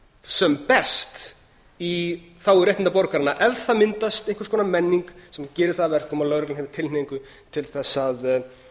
sem best í þágu réttinda borgaranna ef það myndast einhvers konar menning sem gerir það að verkum að lögreglan hafi tilhneigingu til þess að haga sér